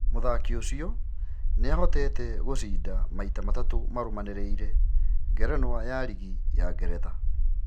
Mũthaki ũcio nĩahoteete gũcinda maita matatũ marũmanĩrĩire ngerenwa ya rigi ya Ngeretha.